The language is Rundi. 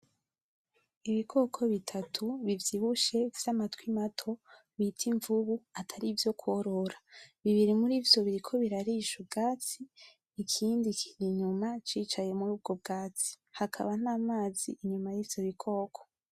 Ibikoko bitatu bivyibushe vyamatwi mato bita imvubu atari ivyo korora, bibiri murivyo biriko birarisha ubwatsi, ikindi kiri inyuma cicaye muri ubwo bwatsi. Hakaba namazi inyuma yivyo bikoko.